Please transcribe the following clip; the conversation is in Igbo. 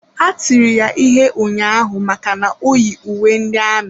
Ha tiri ya ihe ụnyaahụ maka na o yi uwe ndị amị.